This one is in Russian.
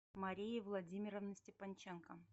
марии владимировны степанченко